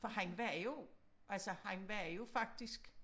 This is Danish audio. For han var jo altså han var jo faktisk